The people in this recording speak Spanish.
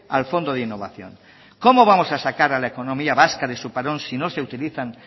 al fondo de innovación cómo vamos a sacar a la economía vasca de su parón si no se utilizan